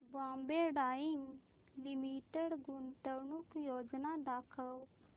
Bombay dyeing limited गुंतवणूक योजना दाखव